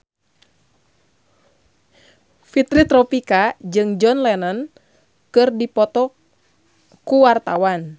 Fitri Tropika jeung John Lennon keur dipoto ku wartawan